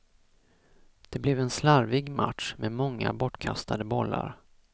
Det blev en slarvig match, med många bortkastade bollar.